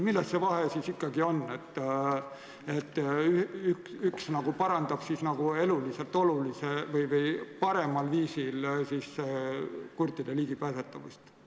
Milles see vahe ikkagi on, et üks parandab eluliselt olulisel või paremal viisil ligipääsetavust kurtide jaoks?